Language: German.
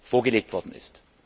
vorgelegt worden ist.